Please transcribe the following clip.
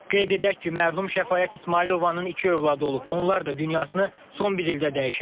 Qeyd edək ki, mərhum Şəfaət İsmayılovanın iki övladı olub, onlar da dünyasını son bir ildə dəyişib.